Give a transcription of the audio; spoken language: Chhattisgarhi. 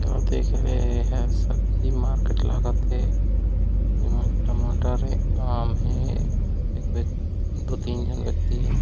आप देख रहे हे सब्जी मार्किट लागत हे जेमा टमाटर आम हे एक व्यक्त दो तीन जन व्यक्ति हे ।